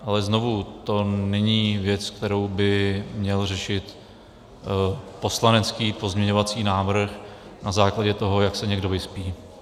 Ale znovu - to není věc, kterou by měl řešit poslanecký pozměňovací návrh na základě toho, jak se někdo vyspí.